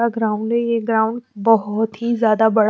ground है ये ground बहुत ही ज़्यादा बड़ा--